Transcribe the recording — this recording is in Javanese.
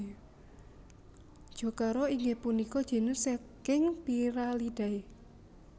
Jocara inggih punika genus saking Pyralidae